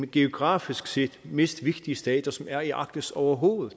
geografisk set mest vigtige stater som er i arktis overhovedet